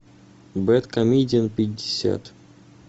бэдкомедиан пятьдесят